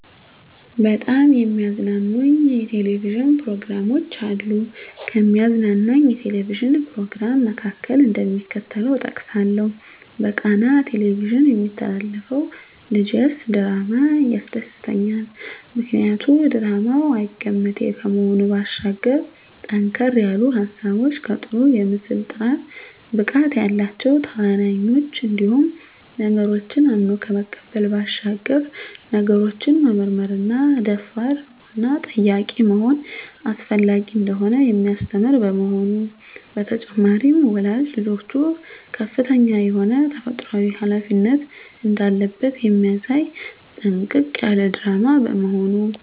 በጣም የሚያዝናኑኝ የ"ቴሌቪዥን" ፕሮግራሞች አሉ፣ ከሚያዝናናኝ የ"ቴሌቪዥን" "ፕሮግራም" መካከል፣ እደሚከተለው እጠቅሳለሁ በቃና "ቴሌቪዥን" የሚተላለፈው ልጀስ ድራማ ያስደስተኛል። ምክንያቱ ድራማው አይገመቴ ከመሆኑ ባሻገር ጠንከር ያሉ ሀሳቦች ከጥሩ የምስል ጥራት፣ ብቃት ያላቸው ተዋናኞች እንዲሁም ነገሮችን አምኖ ከመቀበል ባሻገር ነገሮችን መመርመርና ደፋር፣ ንቁና ጠያቂ መሆን አስፈላጊ እንደሆነ የሚያስተምር በመሆኑ። በተጨማሪም ወላጅ ልጆቹ ከፍተኛ የሆነ ተፈጥሮአዊ ሀላፊነት እንዳለበት የሚያሳይ ጥንቅቅ ያለ ድራማ በመሆኑ።